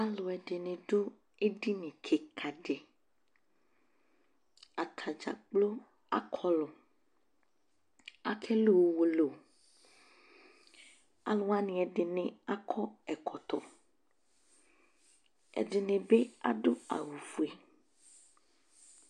Aluɛde ne do edini kika deAtadza kplo akɔlu Ake lu uwolowu Alu wane ɛde ne akɔ ɛkɔtɔƐde ne be ado awufue